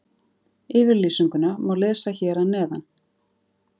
Yfirlýsinguna má lesa hér að neðan.